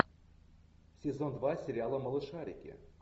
сезон два сериала малышарики